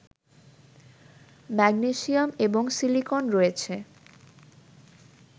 magnesium এবং silicon রয়েছে